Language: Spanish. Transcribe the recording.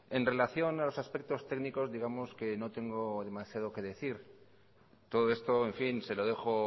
en relación a los aspectos técnicos digamos que no tengo demasiado que decir todo esto en fin se lo dejo